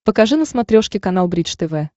покажи на смотрешке канал бридж тв